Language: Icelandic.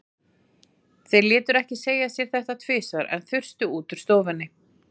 Þeir létu ekki segja sér þetta tvisvar, en þustu út úr stofunni.